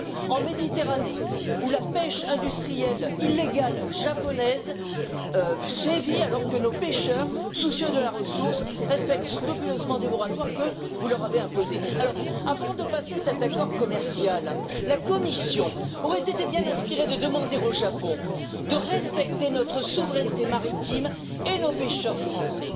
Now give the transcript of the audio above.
En Méditerranée, où la pêche industrielle illégale japonaise sévit, alors que nos pêcheurs soucieux de la ressource respectent scrupuleusement les moratoires que vous leur avez imposés. Avant de passer cet accord commercial, la Commission aurait été bien inspirée de demander au Japon de respecter notre souveraineté maritime et nos pêcheurs français.